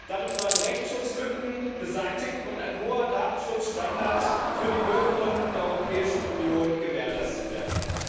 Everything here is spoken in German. Damit sollen Rechtsschutzlücken beseitigt und ein hoher Datenschutzstandard für die Bürgerinnen und Bürger der Europäischen Union gewährleistet werden.